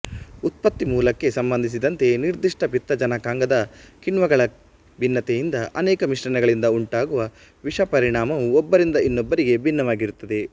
ಉತ್ಪತ್ತಿ ಮೂಲಕ್ಕೆ ಸಂಬಂಧಿಸಿದಂತೆ ನಿರ್ಧಿಷ್ಟ ಪಿತ್ತಜನಕಾಂಗದ ಕಿಣ್ವಗಳ ಭಿನ್ನತೆಯಿಂದ ಅನೇಕ ಮಿಶ್ರಣಗಳಿಂದ ಉಂಟಾಗುವ ವಿಷಪರಿಣಾಮವು ಒಬ್ಬರಿಂದ ಇನ್ನೊಬ್ಬರಿಗೆ ಭಿನ್ನವಾಗಿರುತ್ತದೆ